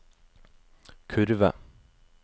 kurve